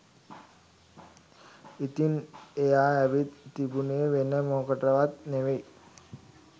ඉතින් එයා ඇවිත් තිබුනේ වෙන මොකටවත් නෙවෙයි